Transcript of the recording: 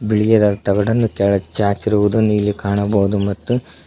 ಬಿಳಿಗಿರ ತಗಡನ್ನು ಕೆಳಗ್ ಚಾಚಿರುವುದು ಇಲ್ಲಿ ಕಾಣಬಹುದು ಮತ್ತು--